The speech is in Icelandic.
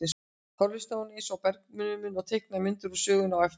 Þá hlustaði hún eins og bergnumin og teiknaði myndir úr sögunni á eftir.